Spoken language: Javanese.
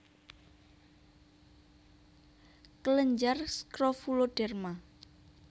kelenjar skrofuloderma